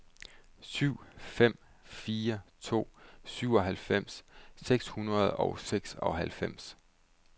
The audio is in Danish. syv fem fire to syvoghalvfems seks hundrede og seksoghalvfems